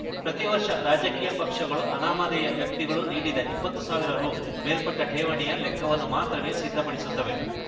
ಪ್ರತಿ ವರ್ಷ ರಾಜಕೀಯ ಪಕ್ಷಗಳು ಅನಾಮಧೇಯ ವ್ಯಕ್ತಿಗಳು ನೀಡಿದ ಇಪ್ಪತ್ತು ಸಾವಿರ ರು ಮೇಲ್ಪಟ್ಟಠೇವಣಿಯ ಲೆಕ್ಕವನ್ನು ಮಾತ್ರವೇ ಸಿದ್ಧಪಡಿಸುತ್ತವೆ